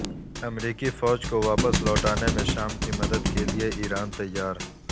امریکی فوج کو واپس لوٹانے میں شام کی مدد کے لئے ایران تیار